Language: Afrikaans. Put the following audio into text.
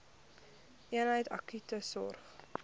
eenheid akute sorg